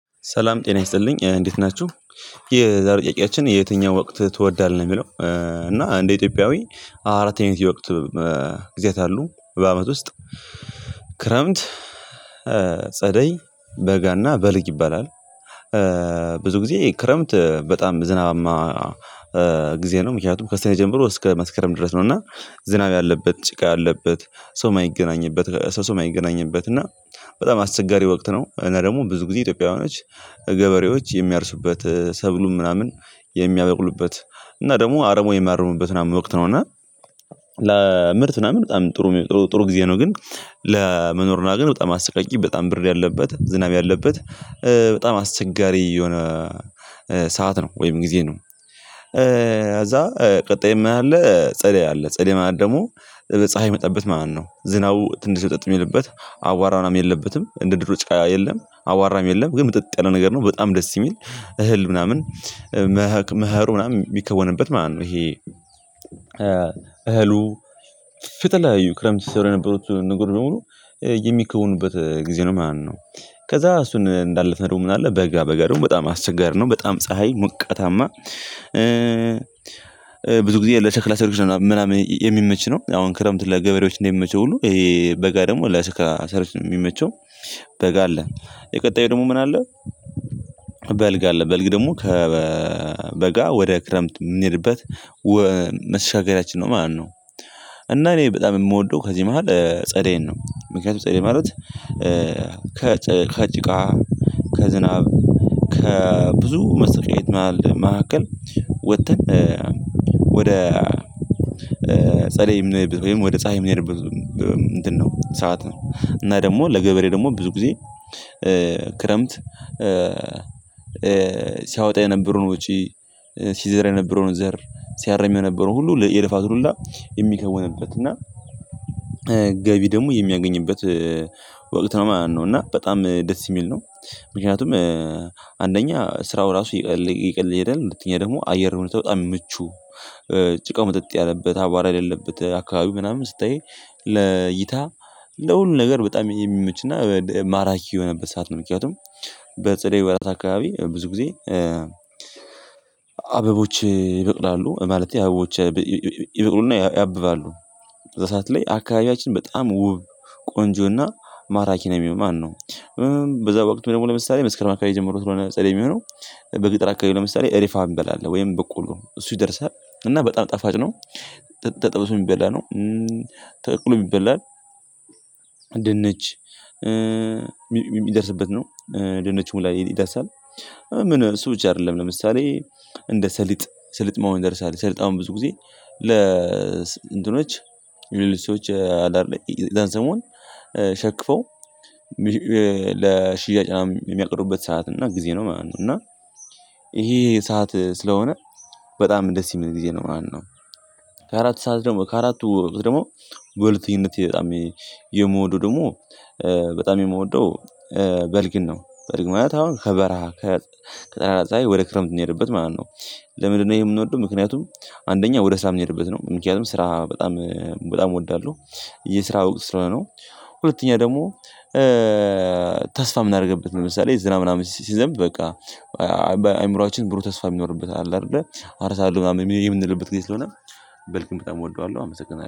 ሰላም፣ ጤና ይስጥልኝ እንዴት ናችሁ? የዛሬ ጥያቄችን የትኛው ወቅት ትወዳለህ የሚለው እና እንደ ኢትዮጵያዊ አራተኛው የወቅት ጊዚያት አሉ በአመት ውስጥ ክረምት፣ ጸደይ፣ በጋ እና በልግ ይባላል። ብዙ ጊዜ ክረምት በጣም ዝናባማ ጊዜ ነው ምክንያቱም ከስኔ ጀምሮ እስከ መስከረም ድረስ ነው እና ዝናብ ያለበት፣ ጭቃ ያለበት፣ ሰው የማይገናኝበት፣ ሰው ሰው የማይገናኝበት እና በጣም አስቸጋሪ ወቅት ነው እና ደግሞ ብዙ ጊዜ ኢትዮጵያውያኖች ገበሬዎች የሚያርሱበት ሰብሉን ምናምን የሚያበቅሉበት እና ደግሞ አረሞ የሚያርሙበት ምናምን ወቅት ነው እና ለምርት ምናምን በጣም ጥሩ ጥሩ ጊዜ ነው ግን ለመኖር ነው ግን በጣም አስቀያሚ በጣም ብር ያለበት ዝናብ ያለበት በጣም አስቸጋሪ የሆነ ሰዓት ነው ወይም ጊዜ ነው። እዛ ቀጣይ ምን አለ ጸደይ አለ ጸደይ ማለት ደግሞ በፀሀይ የመጣበት ማለት እው። ዝናቡ ትንሽ ምጥጥ የሚልበት አቧራም የለበትም እንደ ድሮ ጫቃ የለም አቧራም የለም ግን ምጥጥ ያለ ነገር ነው በጣም ደስ የሚል እህል ምናምን መህሩ ምናምን የሚከወንበት ማለት ነው ይሄ እህሉ ፕየተለያዩ ክረምት ሲሰሩ የነበሩት ነገር በሙሉ የሚክውኑበት ጊዜ ነው ማለት ነው። ከዛ እሱን እንዳለፍነው ደግሞ ምን አለ በጋ በጋ ደግሞ በጣም አስቸጋሪ ነው፣ በጣም ፀሀይ ሞቃታማ ብዙ ጊዜ ለሽክላ ሰሪዎች ነው ምናምን የሚመች ነው። አሁን ክረምት ለገበሬዎች እንደሚመች ሁሉ ይሄ በጋ ደግሞ ለሽክላ ሰሪዎች የሚመቸው በጋ አለ የቀጣዩ ደግሞ ምን አለ በልግ አለ በልግ ደግሞ ከበጋ ወደ ክረምት የምንሄድበት መሸጋገሪያችን ነው ማለት ነው። እና እኔ በጣም የምወደው ከዚህ መሃል ጸደይ ነው ምክንያቱም ጸደይ ማለት ከጭቃ፣ ከዝናብ ከብዙ መስቀየት መካከል ወጥተን ወደ ጸደይም ወይም ወደ ጻሃይ የምንሄድበት ነው ሰዓት ነው እና ደግሞ ለገበሬ ደግሞ ብዙ ጊዜ ክረምት ሲያወጣ የነበረውን ውጪ፣ ሲዘራ የነበረውን ዘር፣ ሲያረም የነበረውን ሁሉ የልፋቱን ሁላ የሚከወንበት እና ገቢ ደግሞ የሚያገኝበት ወቅት ነው ማለት ነው እና በጣም ደስ የሚል ነው ምክንያቱም አንደኛ ስራው ራሱ እየቀ እየቀለለ ይሄዳል ሁለተኛ ደግሞ አየርሁኔታው በጣም ምቹ ጭቃው ምጥጥ ያለበት አባራ የሌለበት አካባቢ ምናምን ስታይ ለይታ ለሁሉም ነገር በጣም የሚመችና ማራኪ የሆነበት ሰዓት ነው ምክንያቱም በጸደይ ወራት አካባቢ ብዙ ጊዜ አበቦች ይበቅላሉ ማለት አበቦች ይበቅሉና ያብባሉ። በሰአት ላይ አካባቢያችን በጣም ውብ፣ ቆንጆ እና ማራኪ ነው ሚሆነው ማለት ነው። በዛ ወቅት ደግሞ ለምሳሌ መስከረም አካባቢ ጀምሮ ስለሆነ ጸደይ የሚሆነው በገጥር አካባቢ ለምሳሌ እሪፋ እንበላለን ወይም በቆልሎ እሱ ይደርሳል እና በጣም ጠፋጭ ነው ተጠብሶ የሚበላ ነው፣ ተቀቅሎ ይበላል። ድንች የሚደርስበት ነው ድንች ሁላ ይደርሳል። ምን እሱ ብቻ አይደለም ለምሳሌ እንደ ሰሊጥ ሰሊጥ መሆን ይደርሳል። ሰሊጥ አሁን ብዙ ጊዜ ለ እንትኖች የብዙ ሰዎች አዳር ላይ ዛን ሰሞን ሸክፈው ለሽያጭ ምናምን የሚያቅሩበት ሰዓት እና ጊዜ ነው ማለት ነው እና ይሄ ሰዓት ስለሆነ በጣም ደስ የሚል ጊዜ ነው ማለት ነው። ከአራት ሰዓት ደግሞ ከአራቱ ደግሞ በሁለትኝነት በጣም የምወደው ደግሞ በጣም የምወደው በልግን ነው። በልግ ማለት አሁን ከበረሃ ከፀሀይ ወደ ክረምት የምንሄድበት ማለት ነው። ለምንድነው ይሄ የምንወደው ምክንያቱም አንደኛ ወደ ስራ ምንሄድበት ነው ምክንያቱም ስራ በጣም በጣም እወዳለሁ የስራ ወቅት ስለሆነ ነው። ሁለተኛ ደግሞ ተስፋ የምናደርግበት ምሳሌ ዝናብ ምናምን ሲዘንብ በቃ አይምሮአችን ብሩ ተስፋ የሚኖርበት አለ አይደለ አርሳለሁት ምናምን የምንልበት ጊዜ ስለሆነ በልግን በጣም እወደዋለሁ አመሰግናለሁ።